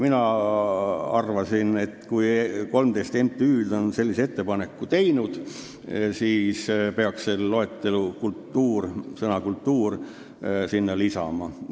Mina arvasin, et kui 13 MTÜ-d on sellise ettepaneku teinud, siis peaks sellesse loetellu sõna "kultuuriline" lisama.